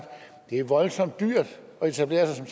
det er voldsomt dyrt at etablere sig